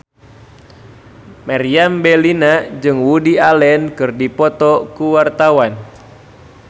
Meriam Bellina jeung Woody Allen keur dipoto ku wartawan